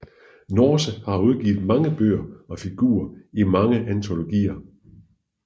Norse har udgivet mange bøger og figurerer i mange antologier